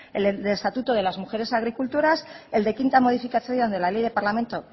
el estatuto de las mujeres agricultoras el de quinta modificación de la ley de parlamento